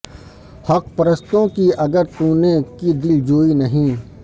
حق پرستوں کی اگر تونے کی دل جوئی نہیں